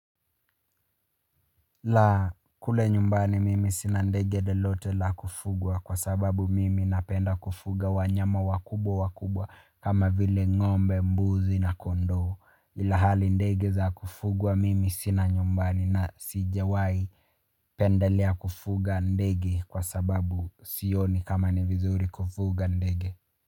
La kule nyumbani mimi sina ndege lelote la kufugwa kwa sababu mimi napenda kufuga wanyama wakubwa wakubwa kama vile ngombe mbuzi na kondoo ila hali ndege za kufugwa mimi sina nyumbani na sijawai pendelea kufuga ndege kwa sababu sioni kama ni vizuri kufuga ndege.